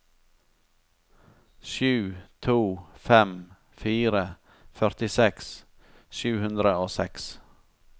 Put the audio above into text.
sju to fem fire førtiseks sju hundre og seks